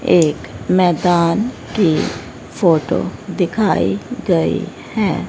एक मैदान की फोटो दिखाई गई है।